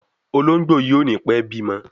Ológbòyí o ní pé bimo.